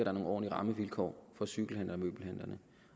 er nogle ordentlige rammevilkår for cykelhandlerne